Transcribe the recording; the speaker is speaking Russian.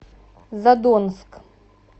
задонск